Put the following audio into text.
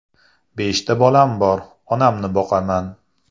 Beshta bolam bor, onamni boqaman.